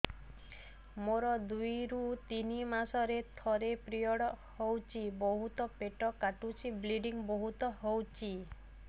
ମୋର ଦୁଇରୁ ତିନି ମାସରେ ଥରେ ପିରିଅଡ଼ ହଉଛି ବହୁତ ପେଟ କାଟୁଛି ବ୍ଲିଡ଼ିଙ୍ଗ ବହୁତ ହଉଛି